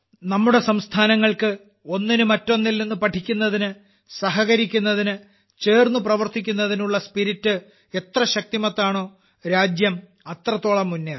നമ്മുടെ സംസ്ഥാനങ്ങൾക്ക് ഒന്നിന് മറ്റൊന്നിൽനിന്ന് പഠിക്കുന്നതിന് സഹകരിക്കുന്നതിന് ചേർന്ന് പ്രവർത്തിക്കുന്നതിന് ഉള്ള സ്പിരിറ്റ് എത്ര ശക്തിമത്താണോ രാജ്യം അത്രത്തോളം മുന്നേറും